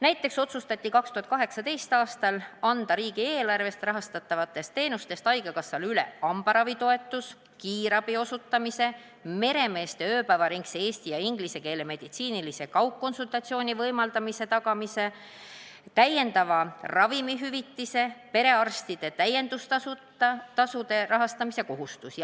Näiteks otsustati 2018. aastal anda riigieelarvest rahastatavatest teenustest haigekassale üle hambaravitoetuse, kiirabiteenuse osutamise, meremeeste ööpäevaringse eesti- ja ingliskeelse meditsiinilise kaugkonsultatsiooni võimaldamise tagamise, täiendava ravimihüvitise ja perearstide täiendustasude rahastamise kohustus.